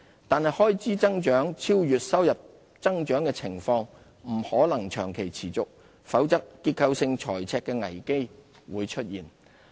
但開支增長超越收入增長的情況，不可能長期持續，否則結構性財赤的危機會出現。